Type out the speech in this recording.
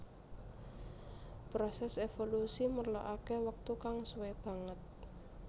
Prosès évolusi merlokaké wektu kang suwé banget